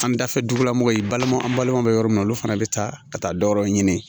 An bɛ dafɛ dugulamɔgɔw ye balimaw an balimaw bɛ yɔrɔ min na olu fana bɛ taa ka taa dɔ wɛrɛ ɲini